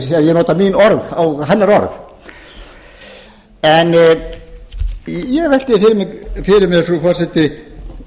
nota mín orð á hennar orð ég velti því fyrir mér frú forseti